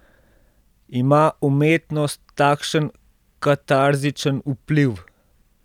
Ima umetnost takšen katarzičen vpliv?